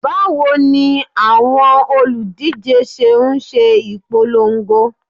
Bawo ni awọn oludije ṣe n ṣe ipolongo?